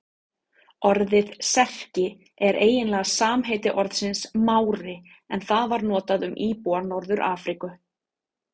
Orðið Serki er eiginlega samheiti orðsins Mári en það var notað um íbúa Norður-Afríku.